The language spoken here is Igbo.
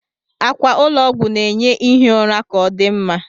Akwa ụlọ ọgwụ na-enye ihi ụra ka odị mma